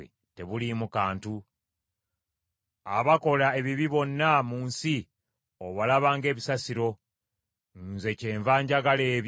Abakola ebibi bonna mu nsi obalaba ng’ebisasiro; nze kyenva njagala ebyo bye walagira.